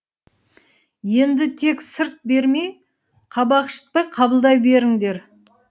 енді тек сырт бермей кабак шытпай қабылдай беріндер